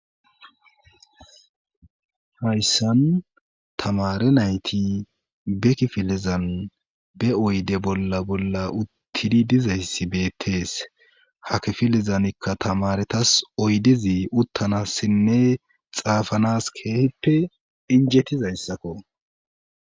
hayssan tamare nayti be kifilizan be oyde bolla bolla uttidi dizayssi beettees hakifilizanikka tamaretas oydizi uttanassinne xaafanas keehippe injettizayssakko